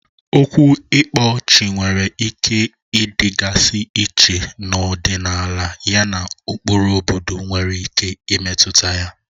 Okwu ngele/ịkpa ọchị nwere ike ịdịgasị iche n'ọdịnala yana ụkpụrụ obodo nwere ike imetụta ya.